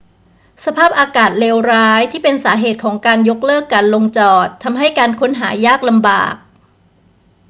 สภาพอากาศเลวร้ายที่เป็นสาเหตุของการยกเลิกการลงจอดทำให้การค้นหายากลำบาก